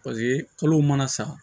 paseke kalow mana sa